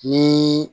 Ni